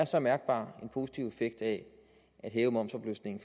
så mærkbar positiv effekt af at hæve momsafløftningen